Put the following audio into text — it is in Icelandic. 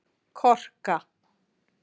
Korka